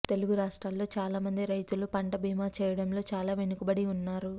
తెలుగు రాష్ట్రాల్లో చాలా మంది రైతులు పంట బీమా చేయడంలో చాలా వెనుకబడి ఉన్నారు